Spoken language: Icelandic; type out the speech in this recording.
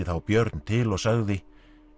þá Björn til og sagði